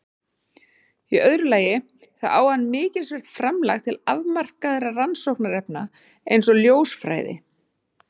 Í öðru lagi þá á hann mikilsvert framlag til afmarkaðra rannsóknarefna eins og ljósfræði.